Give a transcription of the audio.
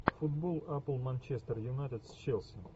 футбол апл манчестер юнайтед с челси